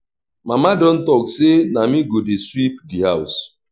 mama don talk say na me go dey sweep the house